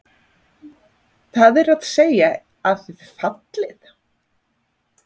Það er að segja að þið fallið?